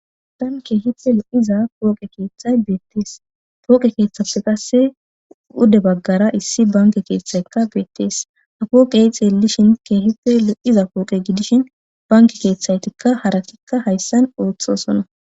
adan keehite lo7iza pooqe keeththay beettees pooqe keeththafe qasse ude baggara issi banke keeththaykka beettees ha kooqeexe elishin keehite lo7iza pooqe gidishin banki keeththaytikka harakikka hayssan ooththosonna